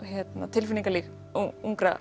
tilfinningalíf ungra